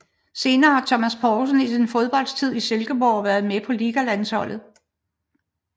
Senere har Thomas Poulsen i sin fodboldtid i Silkeborg været med på Ligalandsholdet